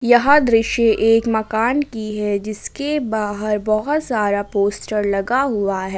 यह दृश्य एक मकान की है जिसके बाहर बहोत सारा पोस्टर लगा हुआ है।